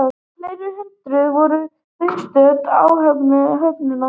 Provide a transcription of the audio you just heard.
Fleiri hundruð voru viðstödd athöfnina